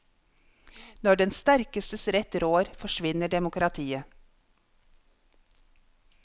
Når den sterkestes rett rår, forsvinner demokratiet.